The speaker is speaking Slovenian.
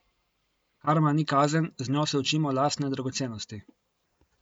Karma ni kazen, z njo se učimo lastne dragocenosti.